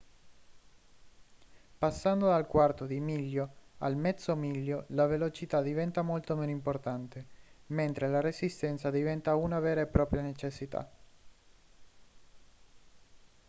passando dal quarto di miglio al mezzo miglio la velocità diventa molto meno importante mentre la resistenza diventa una vera e propria necessità